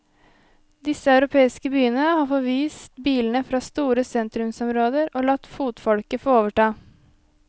Disse europeiske byene har forvist bilene fra store sentrumsområder, og latt fotfolket få overta.